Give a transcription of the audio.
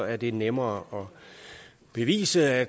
er det nemmere at bevise at